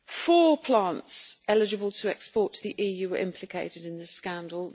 Four plants eligible to export to the EU were implicated in the scandal.